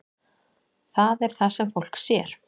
Það er það sem fólk sér.